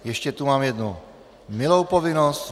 Ještě tu mám jednu milou povinnost.